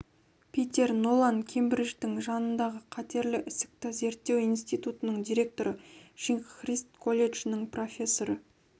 питер нолан кембридждің жанындағы қатерлі ісікті зерттеу институтының директоры шинг христ колледжінің профессоры